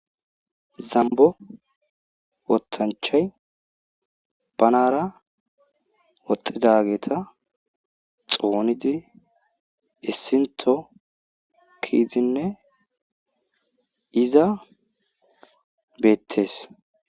Zambo wotanchchay banara woxizageta xxonidi issinththo keyidinne iza beetees.